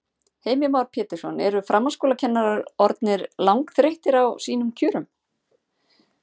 Heimir Már Pétursson: Eru framhaldsskólakennarar orðnir langþreyttir á sínum kjörum?